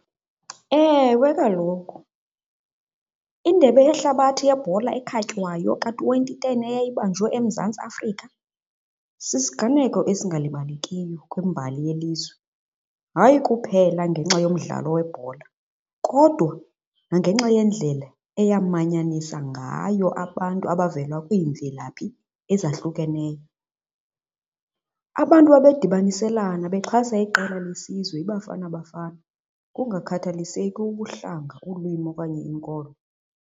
Ewe, kaloku indebe yehlabathi yebhola ekhatywayo ka-twenty ten eyayibanjwe eMzantsi Afrika sisiganeko esingalibalekiyo kwimbali yelizwe, hayi kuphela ngenxa yomdlalo webhola kodwa nangenxa yendlela eyamanyanisa ngayo abantu abavela kwiimvelaphi ezahlukeneyo. Abantu babedibaniselana bexhasa iqela lesizwe iBafana Bafana kungakhathaliseki ubuhlanga, ulwimi okanye inkolo.